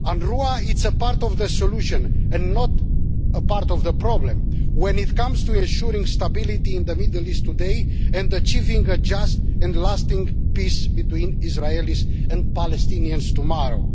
UNRWA is a part of the solution and not a part of the problem when it comes to ensuring stability in the Middle East today and achieving a just and lasting peace between Israelis and Palestinians tomorrow.